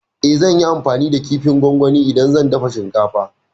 E, zan yi amfani da kifin gongoni idan zan dafa shinkafa.